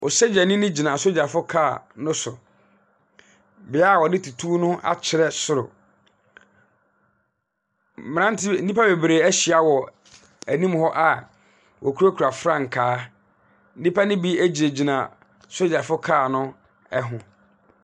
Osogyani no gyina asogyafo car no so. Beae a wɔde tuo no akyerɛ soro. Mmrante nnipa bebree ahyia wɔ anim hɔ a wɔkurakura frankaa. Nnipa no bi egyinagyina sogyafo car no ho.